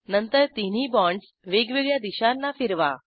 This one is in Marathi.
नंतर तिन्ही बाँडस वेगवेगळ्या दिशांना फिरवा